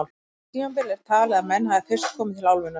Á því tímabili er talið að menn hafi fyrst komið til álfunnar.